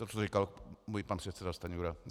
To, co říkal můj pan předseda Stanjura.